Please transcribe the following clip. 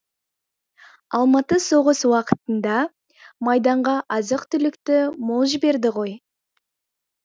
алматы соғыс уақытында майданға азық түлікті мол жіберді ғой